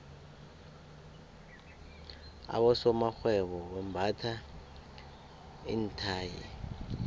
abosomarhwebo bambatha iinthayi